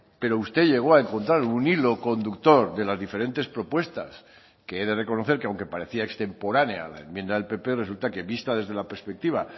pero usted llegó a encontrar un hilo conductor de las diferentes propuestas que he de reconocer que aunque parecía extemporánea a la enmienda del pp resulta que vista desde la perspectiva